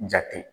Jate